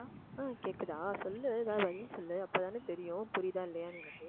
ஆ கேக்குதா சொல்லு பதில் சொல்லு அப்பதானே தெரியும் புரியுதா இல்லையான்னு எனக்கு